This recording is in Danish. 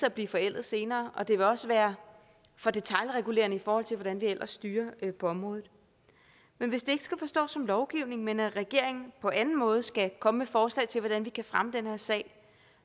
at blive forældet senere og det vil også være for detailregulerende i forhold til hvordan vi ellers styrer på området men hvis det ikke skal forstås som lovgivning men at regeringen på anden måde skal komme med forslag til hvordan vi kan fremme den her sag